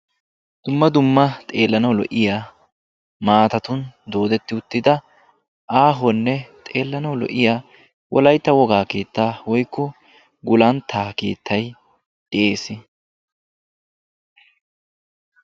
Dumma dumma xeellanawu maattatun doodettidda wolaytta wogaa gulantta keettay de'ees.